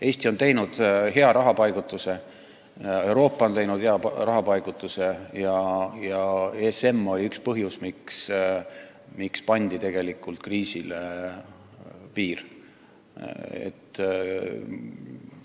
Eesti on teinud hea rahapaigutuse, Euroopa on teinud hea rahapaigutuse ja ESM oli üks tegur, mis võimaldas tegelikult kriisile piiri panna.